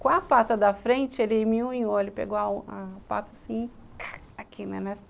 Com a pata da frente, ele me unhou, ele pegou a pata assim, aqui, né?